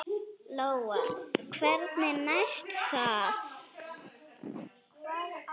Lóa: Hvernig næst það?